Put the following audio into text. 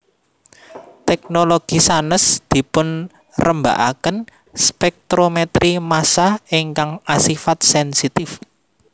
Teknologi sanes dipunrembaaken spektrometri massa ingkang asifat sensitif